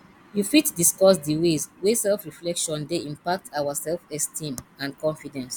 you fit discuss di ways wey selfreflection dey impact our selfesteem and confidence